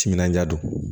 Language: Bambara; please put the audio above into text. Timinandiya don